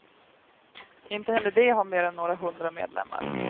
Inte heller de har mer än några hundra medlemmar.